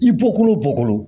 I bɔkolo bɔkolo